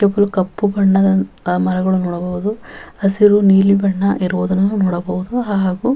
ಇವುಗಳು ಕಪ್ಪು ಬಣ್ಣದ ಮರಗಳು ನೋಡಬಹುದು ಹಸಿರು ನೀಲಿ ಬಣ್ಣ ಇರುವುದನ್ನು ನೋಡಬಹುದು ಹಾಗು --